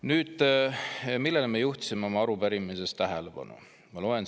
Nüüd, millele me juhtisime oma arupärimises tähelepanu?